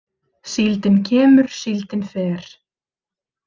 Síldin kemur, síldin fer.